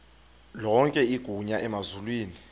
lonke igunya emazulwini